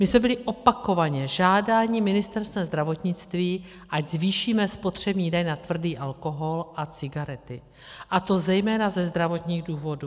My jsme byli opakovaně žádáni Ministerstvem zdravotnictví, ať zvýšíme spotřební daň na tvrdý alkohol a cigarety, a to zejména ze zdravotních důvodů.